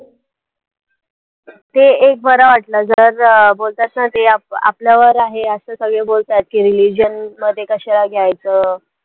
ते एक बरं वाटलं जर अं बोलतात ना ते आ आपल्यावर आहे असं सगळे बोलतात की religion मध्ये कशाला घ्यायचं